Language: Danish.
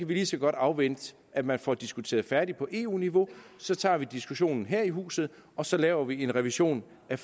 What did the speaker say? vi lige så godt afvente at man får diskuteret færdigt på eu niveau så tager vi diskussionen her i huset og så laver vi en revision af